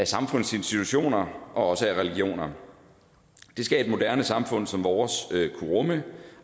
samfundets institutioner og også mod religioner det skal et moderne samfund som vores kunne rumme